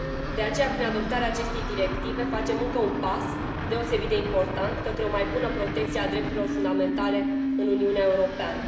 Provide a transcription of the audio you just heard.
De aceea, prin adoptarea acestei directive, facem încă un pas, deosebit de important, către o mai bună protecție a drepturilor fundamentale în Uniunea Europeană.